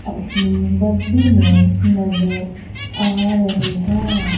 अपनी वर्दी में नजर आ रहे हैं।